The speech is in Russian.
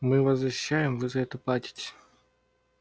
мы вас защищаем вы за это платите